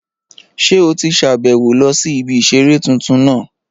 Ṣé o ti sàbẹ̀wo lọ sí ibi ìseré tuntun náà?